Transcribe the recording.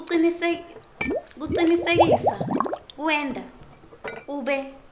kucinisekisa kuwenta ube